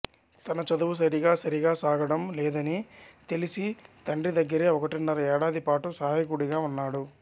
తన చదువు సరిగా సరిగా సాగడం లేదని తెలిసి తండ్రి దగ్గరే ఒకటిన్నర ఏడాదిపాటు సహాయకుడిగా ఉన్నాడు